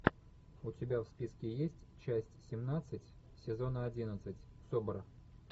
у тебя в списке есть часть семнадцать сезона одиннадцать собр